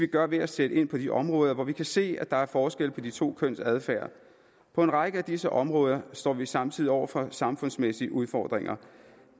gøre ved at sætte ind på de områder hvor vi kan se at der er forskel på de to køns adfærd på en række af disse områder står vi samtidig over for samfundsmæssige udfordringer